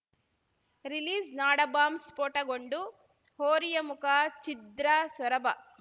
ರಿಲೀಸ್‌ನಾಡಬಾಂಬ್‌ ಸ್ಫೋಟಗೊಂಡು ಹೋರಿಯ ಮುಖ ಛಿದ್ರ ಸೊರಬ